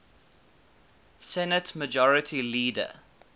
senate majority leader